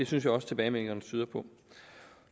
synes jeg også tilbagemeldingerne tyder på